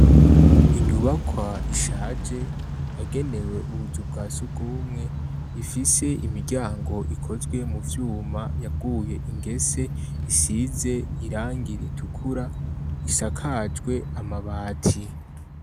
Inyubakwa ishaje yagenewe ubuzu bwa surwumwe, ifise imiryango ikozwe mu vyuma yaguye ingese isize irangi itukura, isakajwe amabati.